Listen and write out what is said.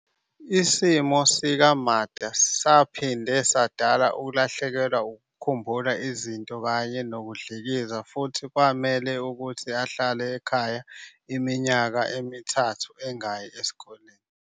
Isimo sika-Makda saphinde sadala ukulahlekelwa ukukhumbula izinto kanye nokudlikiza futhi kwamele ukuthi ahlale ekhaya iminyaka emithathu engayi esikoleni.